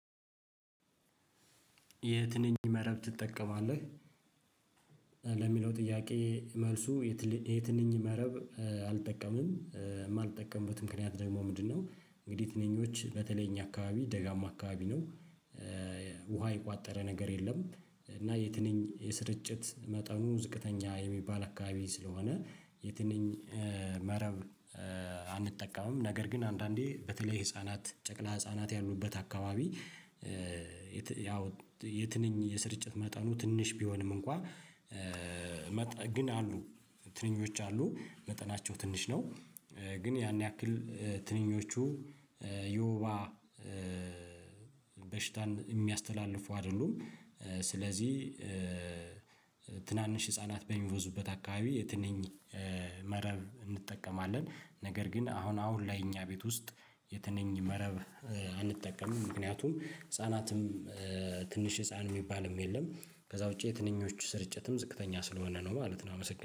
የትንኝ መረብ ትጠቀማለህ? ለሚለው ጥያቄ መልሱ። የትንኝ መረብ አልጠቀምም የማልጠቀምበት ምክንያት ደግሞ ምንድነው? እንግዲህ ትንኞች በተለይ እኛ አካባቢ ደጋማ አካባቢ ነው። ውሃ የቋጠረ ነገር የለም። እና የትንኝ የስርጭት መጠኑ ዝቅተኛ የሚባል አካባቢ ስለሆነ የትንኝ መረብ አንጠቀምም ነገር ግን አንዳንዴ በተለይ ህፃናት ጨቅላ ህፃናት ያሉበት አካባቢ። የትንኝ የስርጭት መጠኑ ትንሽ ቢሆንም እንኳ ግን አሉ ትንኞች አሉ መጠናቸው ትንሽ ነው። ግን ያን ያክል ትንኞቹ ዮባ በሽታን የሚያስተላልፉ አይደሉም። ስለዚህ ትናንሽ ህፃናት በሚመዙበት አካባቢ የትንኝ መረብ እንጠቀማለን። ነገር ግን አሁን አሁን ላይ እኛ ቤት ውስጥ የትንኝ መረብ አንጠቀምም። ምክንያቱም ህፃናትም ትንሽ ህፃን የሚባልም የለም ከዛ ውጪ የትንኞቹ ስርጭትም ዝቅተኛ ስለሆነ ነው ማለት ነው። አመሰግናለሁ